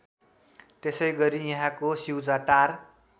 त्यसैगरि यहाँको स्युचाटार